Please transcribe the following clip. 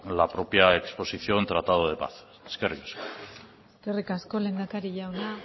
la propia exposición tratado de paz eskerrik asko eskerrik asko lehendakari jauna